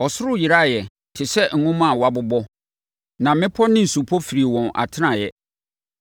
Ɔsoro yeraeɛ te sɛ nwoma a wɔabobɔ, na mmepɔ ne nsupɔ firii wɔn atenaeɛ.